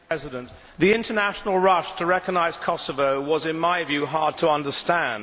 Mr President, the international rush to recognise Kosovo was, in my view, hard to understand.